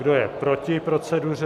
Kdo je proti proceduře?